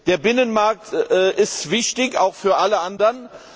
Der Binnenmarkt ist wichtig, auch für alle anderen.